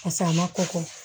a ma kɔkɔ